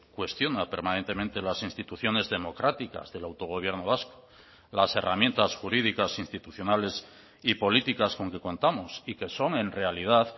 cuestiona permanentemente las instituciones democráticas del autogobierno vasco las herramientas jurídicas institucionales y políticas con que contamos y que son en realidad